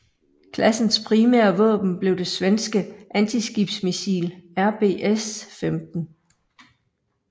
Klassens primære våben blev det svenske antiskibsmissil RBS15